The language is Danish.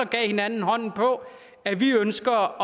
gav hinanden hånden på at vi ønsker